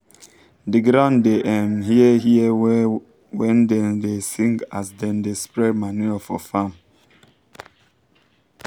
the ground da um hear hear well when dem da sing as dem da spred manure for farm